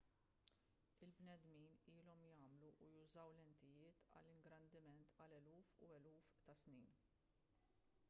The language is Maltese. il-bnedmin ilhom jagħmlu u jużaw lentijiet għall-ingrandiment għal eluf u eluf ta' snin